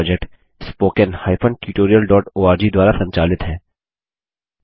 यह project httpspoken tutorialorg द्वारा संचालित है